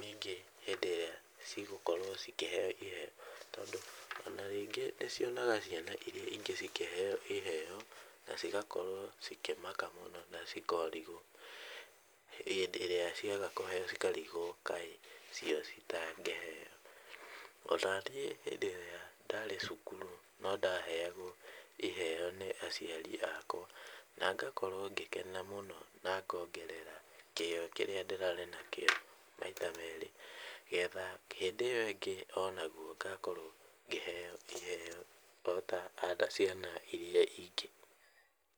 ningĩ hĩndĩ ĩrĩa cigũkorwo cikĩheo iheo tondũ ona rĩngĩ nĩcionaga ciana iria ingĩ cikĩheo iheo na cigakorwo cikĩmaka mũno na cikarigũo hĩndĩ ĩrĩa ciaga kũheo cikarigwo kaĩ cio citangĩheo. Ona niĩ hĩndĩ ĩrĩa ndarĩ cukuru no ndaheagwo iheo nĩ aciari akwa, na ngakorwo ngĩkena mũno na ngongerera kĩo kĩrĩa ndĩrarĩ nakĩo maita merĩ, getha hĩndĩ ĩyo ĩngĩ onaguo ngakorwo ngĩheo iheo ota ota ciana iria ingĩ.